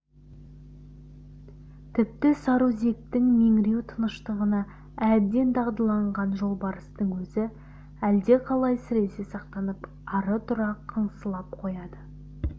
тіпті сарыөзектің меңіреу тыныштығына әбден дағдыланған жолбарыстың өзі әлдеқалай сіресе сақтанып ара-тұра қыңсылап қояды